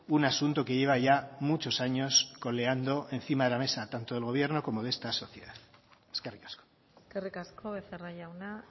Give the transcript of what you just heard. un asunto que lleva ya muchos años coleando encima de la mesa tanto del gobierno como de esta sociedad eskerrik asko eskerrik asko becerra jauna